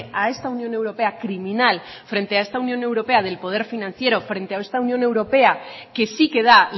a esta unión europea criminal frente a esta unión europea del poder financiero frente a esta unión europea que sí que da